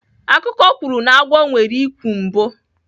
Akụkọ kwuru na agwọ nwere ikwu mbụ.